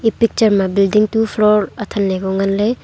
e picture ma building two floor athanley ho nganley.